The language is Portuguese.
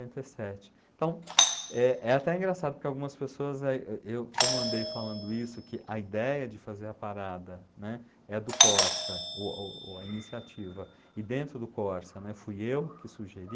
noventa e sete. Então, é é até engraçado, porque algumas pessoas, como andei falando isso, que a ideia de fazer a parada, né, é do Corsa, o o a iniciativa, e dentro do Corsa, né, fui eu que sugeri,